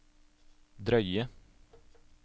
drøye